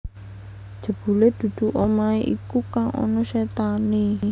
Jebule dudu omahe iku kang ana setane